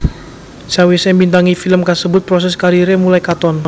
Sawisé mbintangi film kasebut proses kariré mulai katon